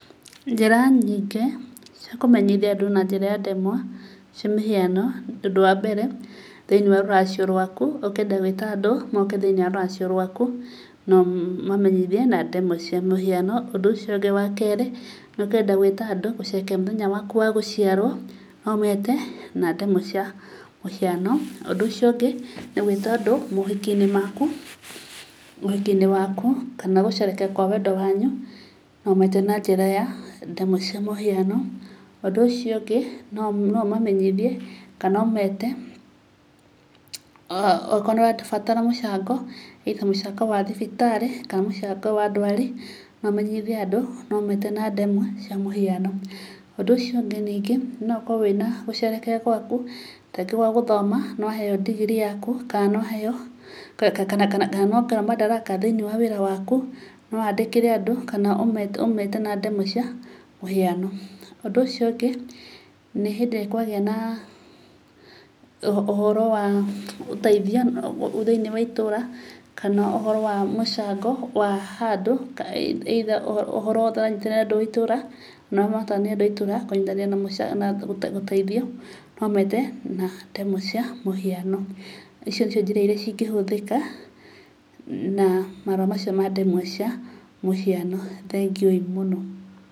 Njĩra nyingĩ, cia kũmenyithia andũ na njĩra ya ndemwa, cia mĩhiano, ũndũ wambere, thĩinĩ wa rũracio rwaku, ũkĩenda gũĩta andũ, moke thiĩnĩ wa rũracio rwaku, no ũmamenyithĩe na ndemwa cia mũhiano. Ũndũ ũcio ũngĩ wakerĩ, ũkĩenda gũĩta andũ moke gũcerehekea mũthenya waku wa gũciarwo, no ũmete, na ndemwa cia mũhiano. Ũndũ ũcio ũngĩ, nĩ gũĩta andũ mohiki-inĩ maku, ũhiki-inĩ waku, kana gũcerehekea kwa wendo wanyu, no ũmete na njĩra ya ndemwa cia mũhiano. Ũndũ ũcio ũngĩ, no ũmamenyithie kana ũmete, okorwo nĩũrabatara mũcango, either mũcango wa thibitarĩ, kana mũcango wa ndwari, no ũmenyithie andũ nometa na ndemwa cia mũhiano. Ũndũ ũciongĩ ningĩ, no ũkorwo wĩna gũcerehekea gwaku, tarĩngĩ gwa gũthoma, nĩwaheyo ndigirii yaku, kana nĩwaheyo, kana nĩwongererwo mandaraka thĩinĩ wa wĩra waku, nowandĩkĩre andũ, kana ũmete na ndemwa cia mũhiano. Ũndũ ũcio ũngĩ, nĩ hĩndĩ ĩrĩa kwagĩa na, ũhoro wa gũteithia thĩinĩ wa itũũra, kana ũhoro wa mũcango wa handũ either ũhoro ũranyitĩrĩra andũ thĩinĩ wa itũra, kana andũ a itũũra kũnyitanĩra gũteithio, no ũmete na ndemwa cia mũhiano. Icio nĩcio njĩra iria cingĩhũthĩka na marũa macio mandemwa cia mũhiano, thengiũĩ mũno.